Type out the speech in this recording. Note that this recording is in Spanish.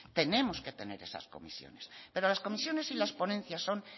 tenemos que tener esas comisiones pero las comisiones y las ponencias son